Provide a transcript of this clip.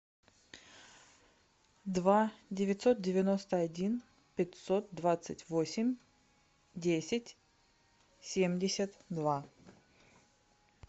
два девятьсот девяносто один пятьсот двадцать восемь десять семьдесят два